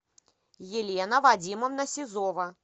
елена вадимовна сизова